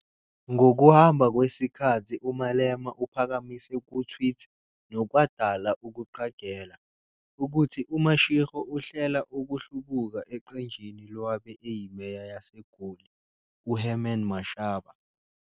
Ngokuhamba kwesikhathi uMalema uphakamise ku-tweet, nokwadala ukuqagela, ukuthi uMashego uhlela ukuhlubuka eqenjini lowabe eyiMeya yaseGoli, uHerman Mashaba.